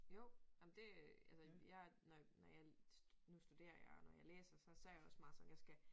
Jo ej men det altså jeg når når jeg nu studerer jeg og når jeg læser så så jeg også meget sådan jeg skal